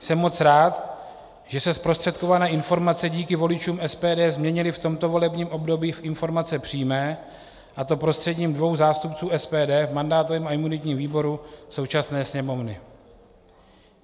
Jsem moc rád, že se zprostředkované informace díky voličům SPD změnily v tomto volebním období v informace přímé, a to prostřednictvím dvou zástupců SPD v mandátovém a imunitním výboru současné Sněmovny.